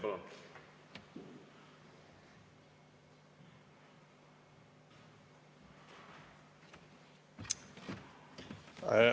Palun!